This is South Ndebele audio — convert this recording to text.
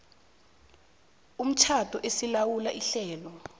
komtjhado esilawula ihlelo